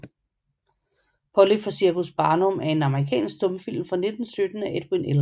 Polly fra Cirkus Barnum er en amerikansk stumfilm fra 1917 af Edwin L